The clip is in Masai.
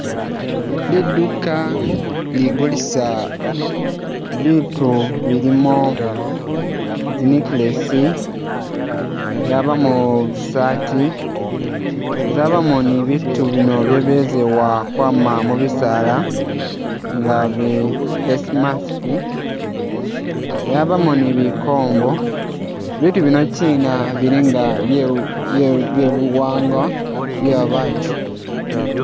Liduka ligulisa biitu bilimo zineckless, lyabamo zisaati lyabamo ni biitu bino byebezewa kwama mubisaala ngabi face mask yabamo ni bikombo, bitu binokyina bilinga byebuwangwa bwebabatu.